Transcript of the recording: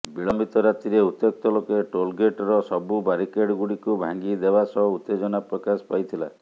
ବିଳମ୍ବିତ ରାତିରେ ଉତ୍ତ୍ୟକ୍ତ ଲୋକେ ଟୋଲ ଗେଟର ସବୁ ବାରିକେଡ ଗୁଡିକୁ ଭାଙ୍ଗି ଦେବାସହ ଉତ୍ତେଜନା ପ୍ରକାଶ ପାଇଥିଲା